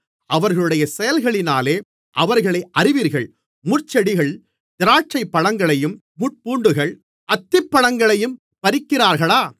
அவர்களுடைய செயல்களினாலே அவர்களை அறிவீர்கள் முட்செடிகளில் திராட்சைப் பழங்களையும் முட்பூண்டுகளில் அத்திப்பழங்களையும் பறிக்கிறார்களா